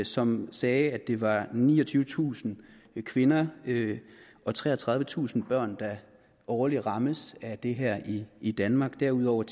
som sagde at det var niogtyvetusind kvinder og treogtredivetusind børn der årligt rammes af det her i i danmark og derudover